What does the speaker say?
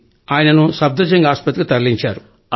ఆయనను సఫ్ధర్ జంగ్ ఆస్పత్రికి తరలించారు